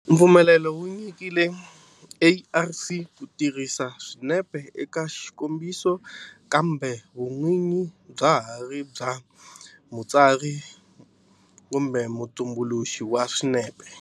Mpfumelelo wu nyikiwile ARC ku tirhisa swinepe eka xikombiso kambe vun'winyi bya ha ri bya mutsari kumbe mutumbuluxi wa swinepe.